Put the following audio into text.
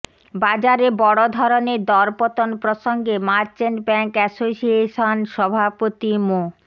বাজারে বড় ধরনের দরপতন প্রসঙ্গে মার্চেন্ট ব্যাংক অ্যাসোসিয়েশন সভাপতি মো